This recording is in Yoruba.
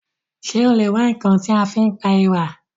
Ṣé o lè wá ǹkan tí a fi pa èèrà?